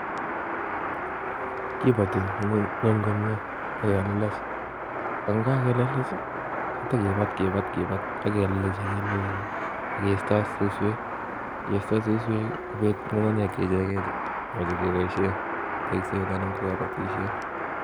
Kibotii ngwony komie ak kebunech, yon kakebunech I,itakibaatkibaat ak kisteot suswek ,konget ngungunyek icheket chekeboishien en kobotisiet